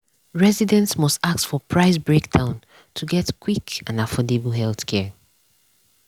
residents must ask for price breakdown to get quick and affordable healthcare.